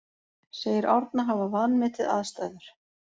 Segir Árna hafa vanmetið aðstæður